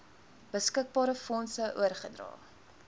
beskikbare fondse oorgedra